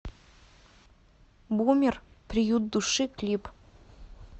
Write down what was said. бумер приют души клип